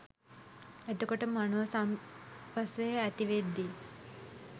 එතකොට මනෝ සම්පස්සය ඇති වෙද්දී